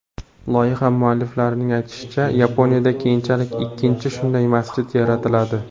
Loyiha mualliflarining aytishicha, Yaponiyada keyinchalik ikkinchi shunday masjid yaratiladi.